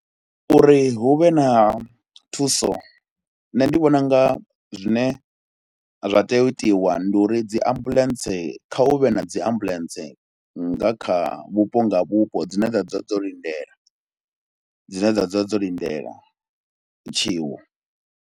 Uri hu vhe na thuso, nṋe ndi vhona u nga zwine zwa tea u itiwa ndi uri dzi ambuḽentse kha hu vhe na dzi ambuḽentse nga kha vhupo nga vhupo dzine dza dzula dzo lindela, dzine dza dzula dzo lindela tshiwo.